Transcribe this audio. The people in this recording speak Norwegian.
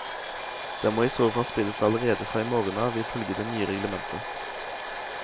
Den må i så fall spilles allerede fra i morgen av, ifølge det nye reglementet.